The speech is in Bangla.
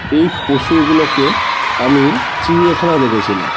এই পশুগুলুকে আমি চিড়িয়াখানায় দেখেছিলাম।